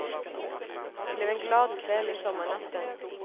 Det blev en glad kväll i sommarnatten.